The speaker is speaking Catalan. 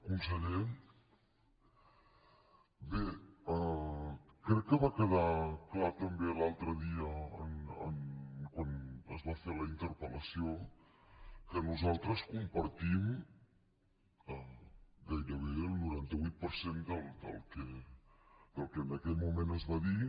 conseller bé crec que va quedar clar també l’altre dia quan es va fer la interpellació que nosaltres compartim gairebé el noranta vuit per cent del que en aquell moment es va dir